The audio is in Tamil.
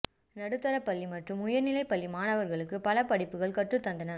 நடுத்தரப் பள்ளி மற்றும் உயர்நிலைப் பள்ளி மாணவர்களுக்கு பல படிப்புகள் கற்றுத் தந்தன